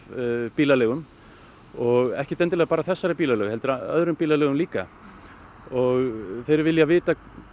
bílaleigum og ekkert endilega bara þessari bílaleigu heldur öðrum bílaleigum líka og þeir vilja vita